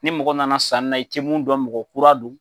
Ni mɔgɔ nana sanni na i tɛ mun dɔn mɔgɔ kura don,